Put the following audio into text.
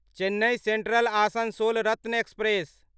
Chennai central Asansol Ratna express